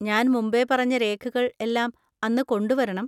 ഞാൻ മുൻപേ പറഞ്ഞ രേഖകൾ എല്ലാം അന്ന് കൊണ്ടുവരണം.